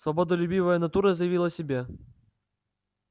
свободолюбивая натура заявила о себе